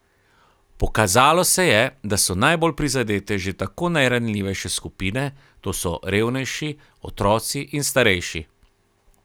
Pokazalo se je, da so najbolj prizadete že tako najranljivejše skupine, to so revnejši, otroci in starejši.